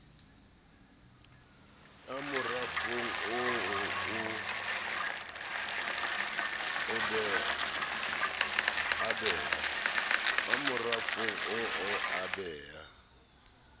a morafong oo a bea